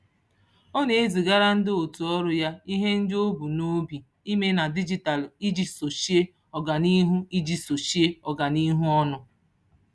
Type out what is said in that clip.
Ọ na-ezigara ndị otu ọrụ ya ihe ndị o bu n'obi ime na dijitalụ iji sochie ọganihu iji sochie ọganihu ọnụ.